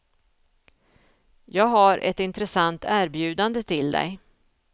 Jag har ett intressant erbjudande till dig.